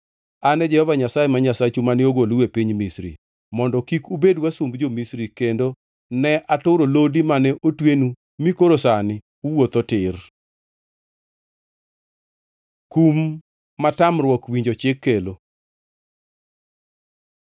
An e Jehova Nyasaye ma Nyasachu mane ogolou e piny Misri, mondo kik ubed wasumb jo-Misri kendo ne aturo lodi mane otwenu mi koro sani uwuotho tir. Kum ma tamruok winjo chik kelo